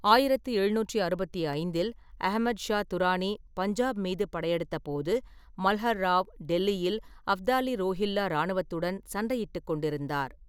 ஆயிரத்தி எழுநூற்றி அறுபத்தி ஐந்தில் அஹமத் ஷா துரானி பஞ்சாப் மீது படையெடுத்தபோது, ​​மல்ஹர் ராவ் டெல்லியில் அஃப்தாலி-ரோஹில்லா இராணுவத்துடன் சண்டையிட்டுக் கொண்டிருந்தார்.